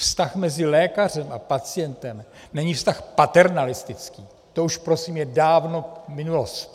Vztah mezi lékařem a pacientem není vztah paternalistický, to už prosím je dávno minulost.